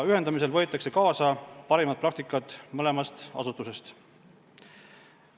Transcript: Ühendamisel võetakse kaasa parimad praktikad mõlemast asutusest.